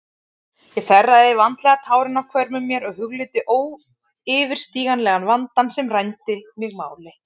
Ég þerraði vandlega tárin af hvörmum mér og hugleiddi óyfirstíganlegan vandann sem rændi mig máli.